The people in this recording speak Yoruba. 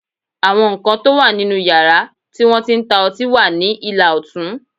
Àwọn nǹkan tó wà nínú yàrá tí wọ́n ti ń ta ọtí wà ní ìlà ọ̀tún